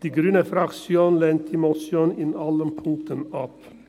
Die grüne Fraktion lehnt diese Motion in allen Punkten ab.